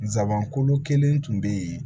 Nsaban kolo kelen tun bɛ yen